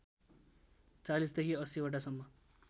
४० देखि ८०वटासम्म